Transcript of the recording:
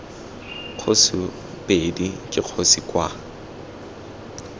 kgosi ii ke kgosi kwa